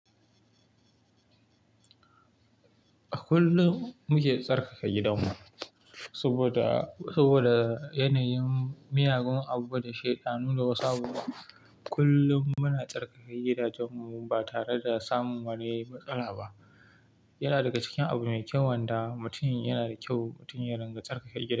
A kullum muke tsarkaka gidanmu saboda, saboda yanayin miyagun abu da shida. Nuna wasu abu kullum muna tsarkaka gidajenmu, ba tare da samun wani matsala ba. Yana daga cikin abu mai kyau wanda mutum yana da kyau. Mutum ya rinƙa tsarkaka gida.